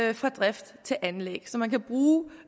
det fra drift til anlæg så man kan bruge